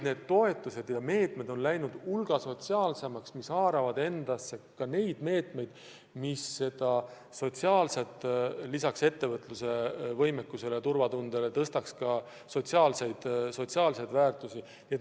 Toetused on läinud hulga sotsiaalsemaks, need haaravad ka meetmeid, mis lisaks ettevõtluse võimekusele ja turvatundele peavad kasvatama ka sotsiaalseid väärtusi.